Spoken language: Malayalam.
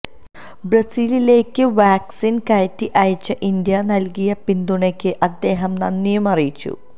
ബ്രസീലിലേക്ക് വാക്സിന് കയറ്റി അയച്ച് ഇന്ത്യ നല്കിയ പിന്തുണയ്ക്ക് അദ്ദേഹം നന്ദിയും അറിയിച്ചു